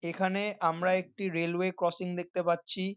এখানে আমরা একটি রেলওয়ে ক্রসিং দেখতে পাচ্ছি।